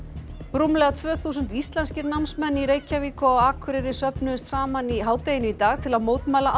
rúmlega tvö þúsund íslenskir námsmenn í Reykjavík og á Akureyri söfnuðust saman í hádeginu í dag til að mótmæla